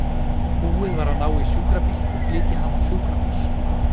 Búið var að ná í sjúkrabíl og flytja hana á sjúkrahús.